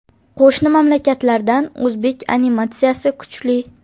Qo‘shni mamlakatlardan o‘zbek animatsiyasi kuchli.